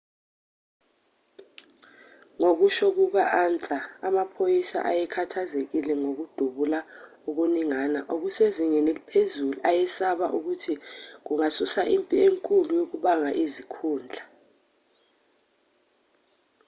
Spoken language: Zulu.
ngokusho kuka-ansa amaphoyisa ayekhathazekile ngokudubula okuningana okusezingeni eliphezulu ayesaba ukuthi kungasusa impi enkulu yokubanga izikhundla